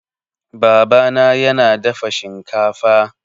Baba na yana dafa shinkafa